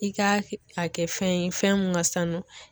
I ka a kɛ fɛn ye fɛn mun ka sanu